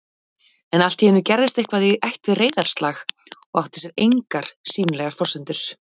En alltíeinu gerðist eitthvað í ætt við reiðarslag og átti sér engar sýnilegar forsendur